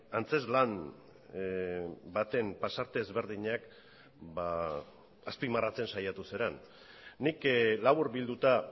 antzezlan baten pasarte ezberdinak azpimarratzen saiatu zaren nik laburbilduta